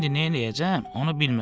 İndi neyləyəcəm, onu bilmirəm.